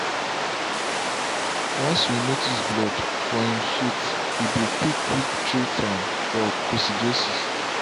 once you notice blood for em shit we dey quick quick treat am for coccidiosis.